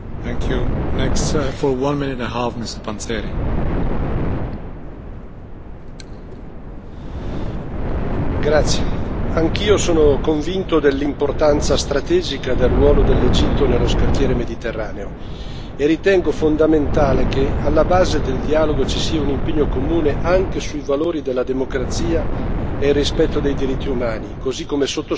Signor Presidente, onorevoli colleghi, anch'io sono convinto dell'importanza strategica del ruolo dell'Egitto nello scacchiere mediterraneo e ritengo fondamentale che alla base del dialogo ci sia un impegno comune anche sui valori della democrazia e rispetto dei diritti umani, così come sottoscritto nel preambolo del documento